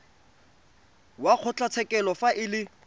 wa kgotlatshekelo fa e le